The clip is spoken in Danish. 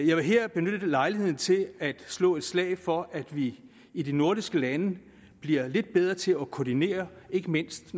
jeg vil her benytte lejligheden til at slå et slag for at vi i de nordiske lande bliver lidt bedre til at koordinere ikke mindst